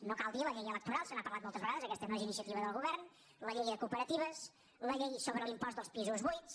i no cal dir ho la llei electoral se n’ha parlat moltes vegades aquesta no és iniciativa del govern la llei de cooperatives la llei sobre l’impost dels pisos buits